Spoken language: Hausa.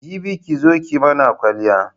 Jibi ki zo ki mana kwaliya.